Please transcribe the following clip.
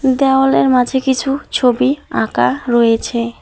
দেওয়ালের মাঝে কিছু ছবি আঁকা রয়েছে।